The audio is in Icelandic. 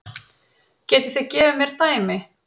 Getið þið gefið mér dæmi?